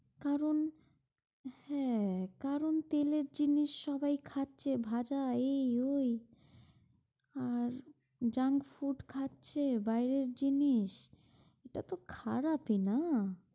কারণ, হ্যাঁ, কারণ তেলের জিনিস সবাই খাচ্ছে ভাজা এই ওই, আর junk food খাচ্ছে বাইরে জিনিস, এটা তো খারাপই না।